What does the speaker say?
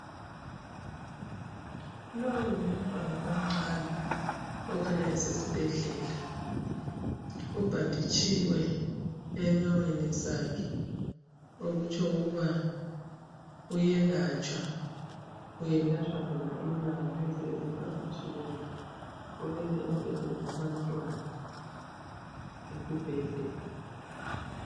Lowu ngumntwana omncane okhanya esesibhedlela ubhanditshiwe enyaweni zakhe okutsho okuba uyelwatsha, uyelatshwa zona inyawo lezo ezibhanditshiweyo ulele embhedi wabantwana esibhedlela.